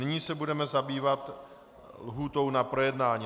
Nyní se budeme zabývat lhůtou na projednání.